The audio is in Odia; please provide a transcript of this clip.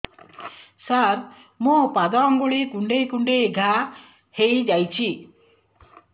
ସାର ମୋ ପାଦ ଆଙ୍ଗୁଳି କୁଣ୍ଡେଇ କୁଣ୍ଡେଇ ଘା ହେଇଯାଇଛି